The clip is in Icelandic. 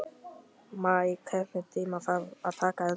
Maj, einhvern tímann þarf allt að taka enda.